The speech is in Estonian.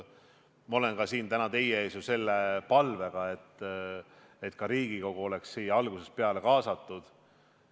Ma olen ka täna siin teie ees ju selle palvega, et Riigikogu oleks sellesse arutelusse algusest peale kaasatud.